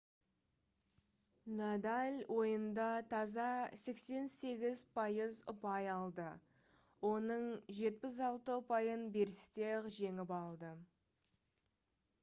надаль ойында таза 88% ұпай алды оның 76 ұпайын берісте-ақ жеңіп алды